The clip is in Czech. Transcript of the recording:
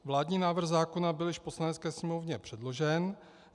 Vládní návrh zákona byl již v Poslanecké sněmovně předložen.